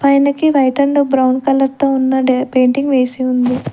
పైనకి white and brown కలర్తో ఉన్న డా పెయింటింగ్ వేసి ఉంది.